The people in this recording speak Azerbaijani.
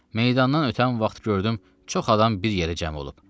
Meydandan ötən vaxt gördüm çox adam bir yerə cəm olub.